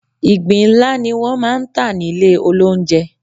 Ìgbín ńlá ni wọ́n máa ń tà nílé olóunjẹ.